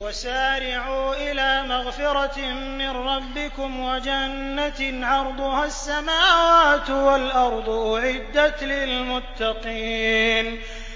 ۞ وَسَارِعُوا إِلَىٰ مَغْفِرَةٍ مِّن رَّبِّكُمْ وَجَنَّةٍ عَرْضُهَا السَّمَاوَاتُ وَالْأَرْضُ أُعِدَّتْ لِلْمُتَّقِينَ